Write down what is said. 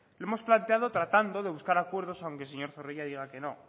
lo hemos planteado tratando de buscar acuerdos aunque el señor zorrilla diga que no